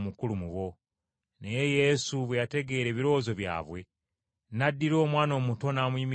Naye Yesu bwe yategeera ebirowoozo byabwe n’addira omwana omuto n’amuyimiriza w’ali.